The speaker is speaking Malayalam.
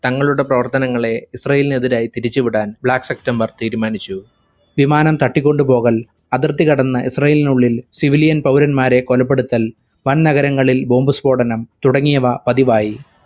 തങ്ങളുടെ പ്രവർത്തനങ്ങളെ ഇസ്രാഈലിനെതിരായി തിരിച്ചുവിടാൻ black september തീരുമാനിച്ചു. വിമാനം തട്ടിക്കൊണ്ടുപോകൽ, അതിർത്തികടന്ന് ഇസ്രാഈലിനുള്ളിൽ civilian പൗരന്മാരെ കൊലപ്പെടുത്തൽ, വൻനഗരങ്ങളിൽ bomb സ്ഫോടനം തുടങ്ങിയവ പതിവായി